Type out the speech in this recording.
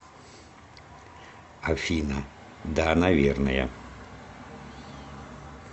афина да наверное